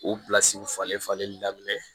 O falen falenli daminɛ